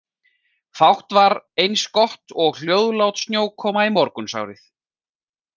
Fátt var eins gott og hljóðlát snjókoma í morgunsárið.